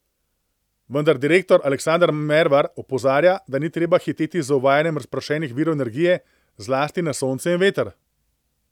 Vendar direktor Aleksander Mervar opozarja, da ni treba hiteti z uvajanjem razpršenih virov energije, zlasti na sonce in veter.